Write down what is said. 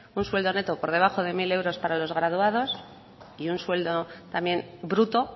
un sueldo neto por debajo de mil euros para los graduados y un sueldo también bruto